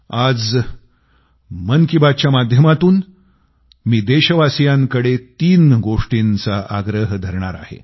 आज मन की बात च्या माध्यमातून मी देशवासियांकडे तीन गोष्टींचा आग्रह धरणार आहे